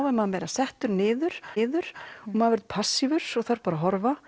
er maður meira settur niður niður og maður verður passívur og þarf að horfa